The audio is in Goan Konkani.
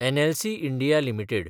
NLC India limited